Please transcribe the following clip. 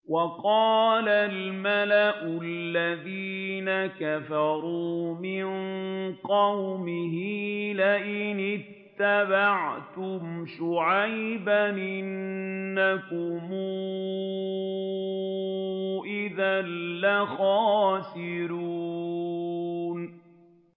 وَقَالَ الْمَلَأُ الَّذِينَ كَفَرُوا مِن قَوْمِهِ لَئِنِ اتَّبَعْتُمْ شُعَيْبًا إِنَّكُمْ إِذًا لَّخَاسِرُونَ